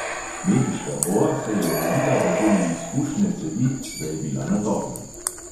Mehiška boa se je ovila okoli izpušne cevi, da je bila na toplem.